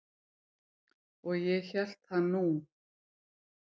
Og ég hélt það nú.